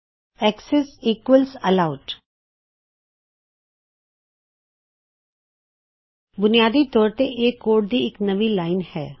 access equals allowed ਬੁਨਿਆਦੀ ਤੌਰ ਤੇ ਇਹ ਕੋਡ ਦੀ ਇਕ ਨਵੀਂ ਲਾਇਨ ਹੈ